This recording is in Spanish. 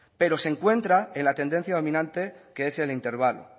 pero se encuentra en la tendencia dominante que es el intervalo